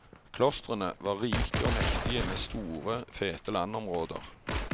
Klostrene var rike og mektige med store, fete landområder.